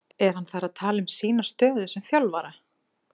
Er hann þar að tala um sína stöðu sem þjálfara?